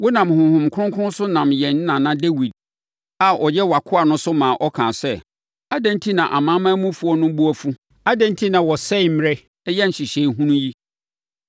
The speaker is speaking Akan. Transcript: wonam Honhom Kronkron so nam yɛn nana Dawid a ɔyɛ wʼakoa no so maa ɔkaa sɛ, “Adɛn enti na amanamanmufoɔ no bo afu? Adɛn enti na wɔsɛe mmerɛ yɛ nhyehyɛeɛ hunu yi?